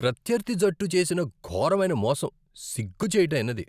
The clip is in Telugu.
ప్రత్యర్థి జట్టు చేసిన ఘోరమైన మోసం సిగ్గుచేటైనది.